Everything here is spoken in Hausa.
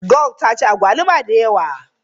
Gold ta ci agwaluma da yawa.